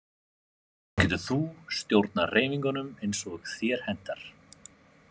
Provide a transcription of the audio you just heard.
Þá getur þú stjórnað hreyfingunum eins og þér hentar